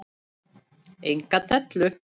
Enga dellu!